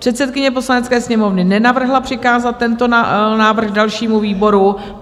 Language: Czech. Předsedkyně Poslanecké sněmovny nenavrhla přikázat tento návrh dalšímu výboru.